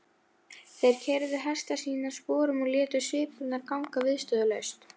Málrómur skáldsins var mikilúðlegur eins og maðurinn sjálfur.